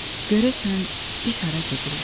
Görəsən, biz hara gedirik?